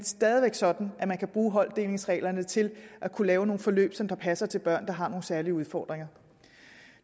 stadig væk sådan at man kan bruge holddelingsreglerne til at kunne lave nogle forløb som passer til børn der har nogle særlige udfordringer